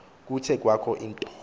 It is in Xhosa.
kuthe kwakho into